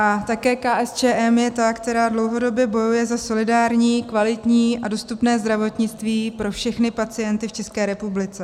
A také KSČM je ta, která dlouhodobě bojuje za solidární, kvalitní a dostupné zdravotnictví pro všechny pacienty v České republice.